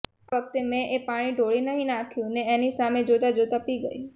આ વખતે મેં એ પાણી ઢોળી નહી નાખ્યું ને એની સામે જોતા જોતા પી ગઈ